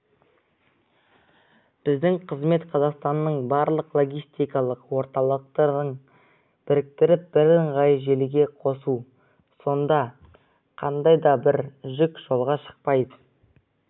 біздің қызмет қазақстанның барлық логистикалық орталықтарын біріктіріп бірыңғай желіге қосу сонда қандайда бір жүк жолға шықпай